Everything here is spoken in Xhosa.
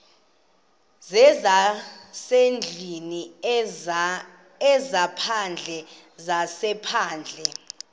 zezasendlwini ezaphandle zezaphandle